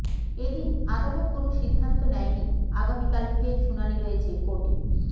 এদিন আদালত কোনো সিদ্ধান্ত নেয়নি আগামীকাল ফের শুনানি রয়েছে কোর্টে